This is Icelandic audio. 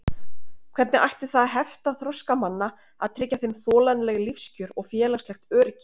Hvernig ætti það að hefta þroska manna að tryggja þeim þolanleg lífskjör og félagslegt öryggi?